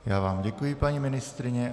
Já vám děkuji, paní ministryně.